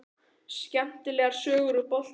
Skemmtilegar sögur úr boltanum?